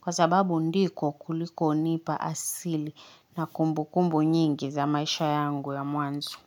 kwa sababu ndiko kulikonipa asili na kumbukumbu nyingi za maisha yangu ya mwanzo.